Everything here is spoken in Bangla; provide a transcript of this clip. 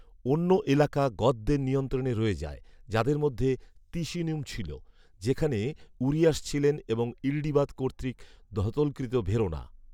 অন্য এলাকা গথদের নিয়ন্ত্রণে রয়ে যায়, যাদের মধ্যে তিসিনূম ছিল, যেখানে উরিয়াস ছিলেন এবং ইল্ডিবাদ কর্তৃক দথলকৃত ভেরোনা